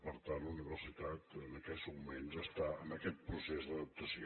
per tant la universitat en aquests moments està en aquest procés d’adaptació